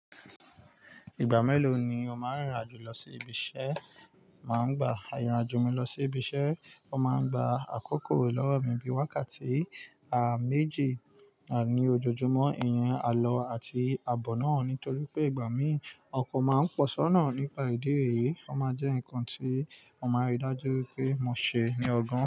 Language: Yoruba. Ìgbà mélòó ni o máa ń rìnrìn-àjò lọ sí ibi iṣẹ́? Máa ń gba àrìnàjò mi lọ sí ibi iṣẹ́, ó máa ń gba àkókò lọ́wọ́ mi bíi wákàtí, méjì, ní ojoojúmọ́, ìyẹn àlọ àti àbọ̀ náà. Nítorí pé ìgbà míì ọkọ̀ máa ń pọ̀ sọ́nà nípa ìdí èyí, ó máa jẹ́ nǹkan tí mo máa ń ri dájú pé mo ṣe ní ọgán.